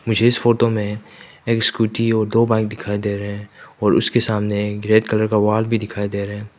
मुझे इस फोटो में एक स्कूटी और दो बाइक दिखाई दे रहे है और उसके सामने रेड कलर का वॉल भी दिखाई दे रहा है।